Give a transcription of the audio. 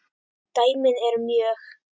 dæmin eru mörg.